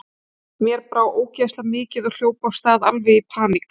Mér brá ógeðslega mikið og hljóp af stað, alveg í paník.